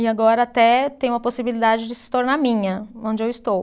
E agora até tenho a possibilidade de se tornar minha, onde eu estou.